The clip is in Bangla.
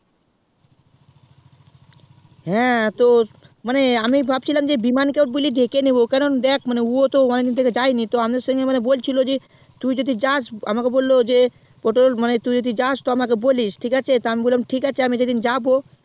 হ্যাঁ তো মানে আমি ভাবছিলাম যে বিমান কেও বুঝলি ডেকেনিবো মানে ও তো অনেক দিন থেকে যায়নি মানে তুই যদি জাস আমাকে বললো যে পটল তুই যদি জাস তো আমাকে বলিস ঠিক আছে তো আমি বললাম যে আমি যে দিন যাবো